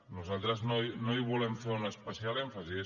nosaltres no hi volem fer un especial èmfasi